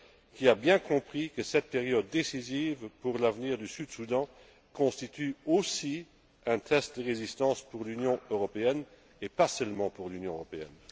Il a bien compris que cette période décisive pour l'avenir du Sud Soudan constitue aussi un test de résistance pour l'Union européenne, et pas seulement pour l'Union européenne.